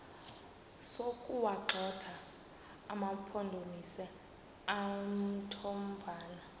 sokuwagxotha amampondomise omthonvama